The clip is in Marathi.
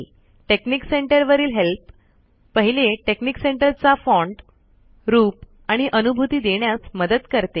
टेकनिक सेंटर वरील हेल्प पहिले टेकनिक सेंटर च्या फोन्ट रूप आणि अनुभूती देण्यास मदत करते